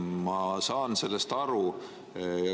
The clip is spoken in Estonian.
Ma saan sellest aru.